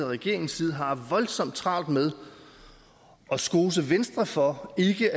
regeringens side har voldsomt travlt med at skose venstre for ikke